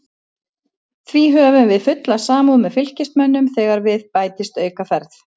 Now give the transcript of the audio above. Því höfum við fulla samúð með Fylkismönnum þegar við bætist aukaferð.